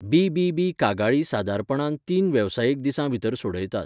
BBB. कागाळी सादारणपणान तीस वेवसायीक दिसां भितर सोडयतात.